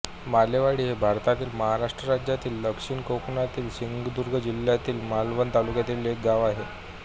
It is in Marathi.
मालेवाडी हे भारतातील महाराष्ट्र राज्यातील दक्षिण कोकणातील सिंधुदुर्ग जिल्ह्यातील मालवण तालुक्यातील एक गाव आहे